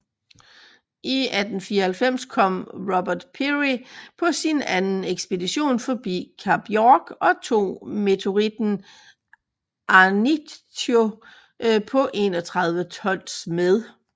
I 1894 kom Robert Peary på sin anden ekspedition forbi Kap York og tog meteoritten Ahnighito på 31 tons med